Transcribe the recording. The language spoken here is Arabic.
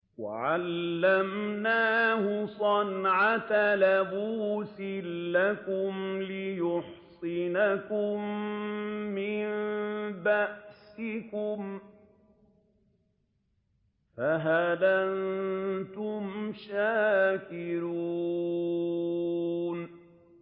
وَعَلَّمْنَاهُ صَنْعَةَ لَبُوسٍ لَّكُمْ لِتُحْصِنَكُم مِّن بَأْسِكُمْ ۖ فَهَلْ أَنتُمْ شَاكِرُونَ